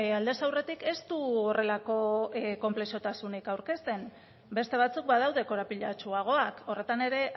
aldez aurretik ez du horrelako konplexutasunik aurkezten beste batzuk badaude korapilatsuagoak horretan ere